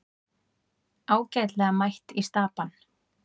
Ágætlega mætt í Stapann